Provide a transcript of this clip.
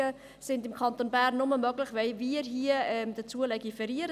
Auslagerungen sind im Kanton Bern nur möglich, wenn wir hier im Rat dazu legiferieren.